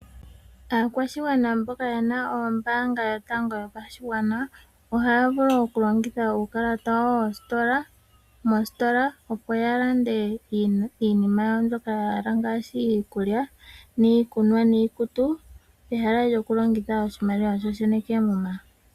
Aakwashigwana mboka yena ombaanga yotango yopashigwana ohaya vulu okulongitha uukalata wawo moositola opo yalande iinima yawo mbyoka yahala ngaashi iikulya, niikunwa, niikutu pehala lyokulongitha oshiimaliwa shoshene keemuma.